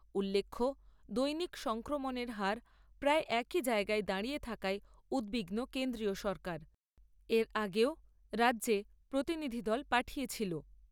উল্লেখ্য, দৈনিক সংক্রমণের হার প্রায় একই জায়গায় দাঁড়িয়ে থাকায় উদ্বিগ্ন কেন্দ্রীয় সরকার, এর আগেও রাজ্যে প্রতিনিধি দল পাঠিয়েছিল।